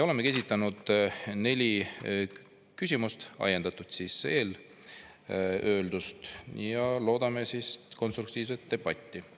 Oleme ajendatult eelöeldust esitanud neli küsimust ja loodame konstruktiivset debatti.